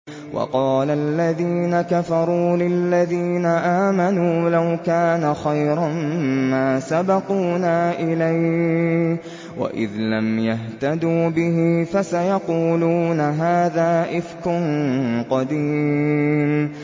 وَقَالَ الَّذِينَ كَفَرُوا لِلَّذِينَ آمَنُوا لَوْ كَانَ خَيْرًا مَّا سَبَقُونَا إِلَيْهِ ۚ وَإِذْ لَمْ يَهْتَدُوا بِهِ فَسَيَقُولُونَ هَٰذَا إِفْكٌ قَدِيمٌ